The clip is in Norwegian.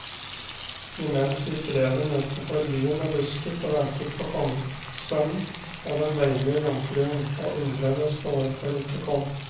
Imens gikk reven utenfor byen og lusket og ventet på kongssønnen og den deilige jomfruen, og undredes på hvorfor de ikke kom.